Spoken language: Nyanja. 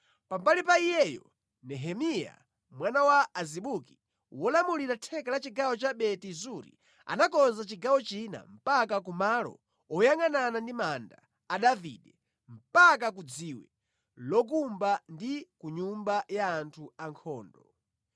Pambali pa iyeyo, Nehemiya mwana wa Azibuki, wolamulira theka la chigawo cha Beti Zuri anakonza chigawo china mpaka kumalo oyangʼanana ndi manda a Davide, mpaka ku dziwe lokumba ndi ku nyumba ya anthu ankhondo.